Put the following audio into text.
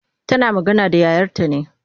Tana magana da yayarta ne.